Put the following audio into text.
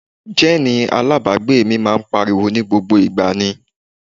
Jẹ́ẹ̀nì alábàágbé mi máa ń pariwo ní gbogbo ìgbà ni